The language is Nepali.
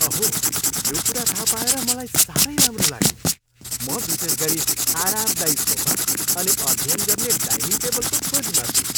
अहो! यो कुरा थाहा पाएर मलाई साह्रै राम्रो लाग्यो। म विशेष गरी आरामदायी सोफा अनि अध्ययन गर्ने डाइनिङ टेबलको खोजीमा छु।